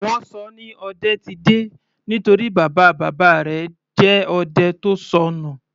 Wọ́n ṣọ ọ ní Odetide nítorí bàbá bàbá rẹ̀ jẹ́ odẹ tó sọnù.